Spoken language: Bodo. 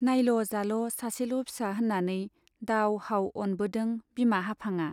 नाइल' जाल' सासेल' फिसा होन्नानै दाव हाव अनबोदों बिमा हाफांआ।